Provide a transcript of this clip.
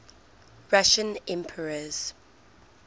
russian emperors